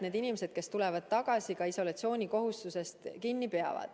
Need inimesed, kes tulevad tagasi, peavad isolatsioonikohustusest kinni pidama.